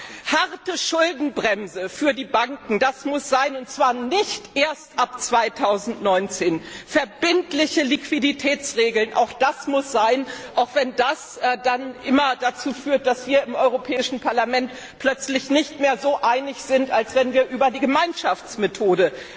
Eine harte Schuldenbremse für die Banken, das muss sein, und zwar nicht erst ab 2019. Verbindliche Liquiditätsregeln, auch das muss sein, auch wenn das dann dazu führt, dass wir im Europäischen Parlament plötzlich nicht mehr so einig sind wie bei einer Abstimmung über die Gemeinschaftsmethode.